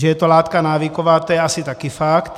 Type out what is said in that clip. Že je to látka návyková, to je asi také fakt.